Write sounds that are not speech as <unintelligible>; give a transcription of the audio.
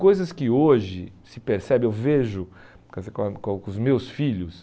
Coisas que hoje se percebe, eu vejo <unintelligible> com os meus filhos.